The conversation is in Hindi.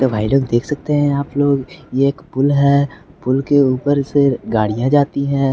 तो भाई लोग देख सकते हैं आप लोग ये एक पुल है पुल के ऊपर से गाड़ियां जाती हैं।